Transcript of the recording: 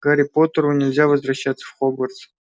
гарри поттеру нельзя возвращаться в хогвартс